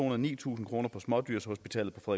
og nitusind kroner for smådyrshospitalet på